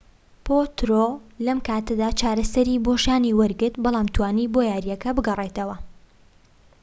پۆترۆ لەم کاتەدا چارەسەری بۆ شانی وەرگرت بەڵام توانی بۆ یارییەکە بگەڕێتەوە